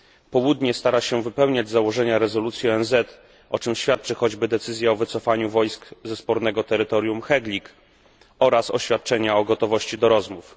Południe stara się wypełniać założenia rezolucji ONZ, o czym świadczy choćby decyzja o wycofaniu wojsk ze spornego terytorium Heglig oraz oświadczenia o gotowości do rozmów.